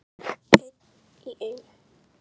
Einn í einu.